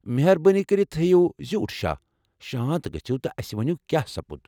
مہربٲنی کٔرتھ ہیٚیو زیوٗٹھ شاہ، شانت گژھِو٘ تہٕ اسہِ ؤنِو کیٛاہ سپُد ۔